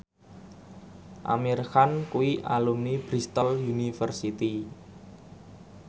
Amir Khan kuwi alumni Bristol university